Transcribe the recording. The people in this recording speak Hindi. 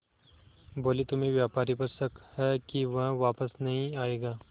बोले तुम्हें व्यापारी पर शक है कि वह वापस नहीं आएगा